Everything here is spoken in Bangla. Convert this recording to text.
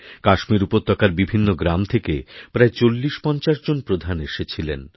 কাশ্মীর উপত্যকার বিভিন্নগ্রাম থেকে প্রায় ৪০৫০ জন প্রধান এসেছিলেন